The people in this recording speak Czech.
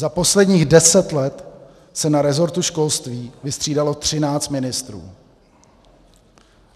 Za posledních deset let se na resortu školství vystřídalo třináct ministrů.